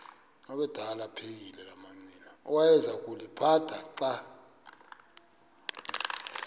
awayeza kuliphatha xa